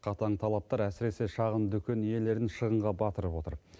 қатаң талаптар әсіресе шағын дүкен иелерін шығынға батырып отыр